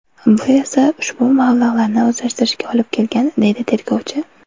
Bu esa ushbu mablag‘larni o‘zlashtirishga olib kelgan”, deydi tergovchi.